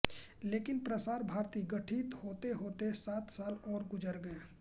लेकिन प्रसार भारती गठित होतेहोते सात साल और गुज़र गये